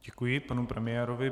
Děkuji panu premiérovi.